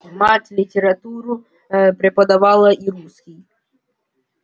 мать литературу преподавала и русский